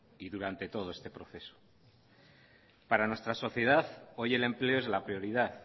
y durante todo este proceso para nuestra sociedad hoy el empleo es la prioridad